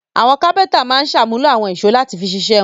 Àwọn kápẹ́ńtà máa ń ṣàmúlò àwọn ìṣó láti fi ṣiṣẹ́ wọn.